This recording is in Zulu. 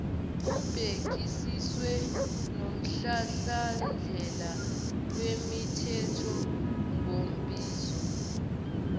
kubhekisiswe nomhlahlandlela wemithethonkambiso